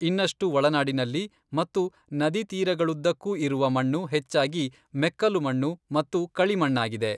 ಇನ್ನಷ್ಟು ಒಳನಾಡಿನಲ್ಲಿ ಮತ್ತು ನದಿತೀರಗಳುದ್ದಕ್ಕೂ ಇರುವ ಮಣ್ಣು ಹೆಚ್ಚಾಗಿ ಮೆಕ್ಕಲು ಮಣ್ಣು ಮತ್ತು ಕಳಿಮಣ್ಣಾಗಿದೆ.